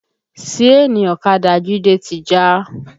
Síènì ọ̀kadà Jide ti já